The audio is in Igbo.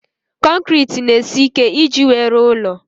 Konkiriti n'esi ike iji wee rụọ ụlọ